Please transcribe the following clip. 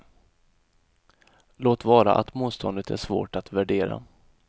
Låt vara att motståndet är svårt att värdera.